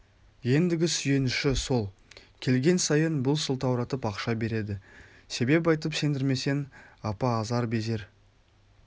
ендігі сүйеніші сол келген сайын бұл сылтауратып ақша береді себеп айтып сендірмесең апа азар-безер